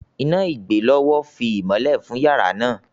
Iná àgbélọ́wọ́ fi ìmolẹ̀ fùn yará náà